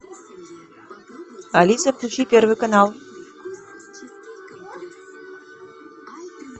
алиса включи первый канал